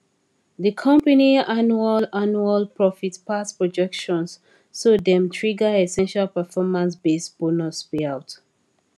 di company annual annual profit pass projections so dem trigger essential performancebased bonus payout